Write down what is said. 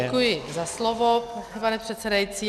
Děkuji za slovo, pane předsedající.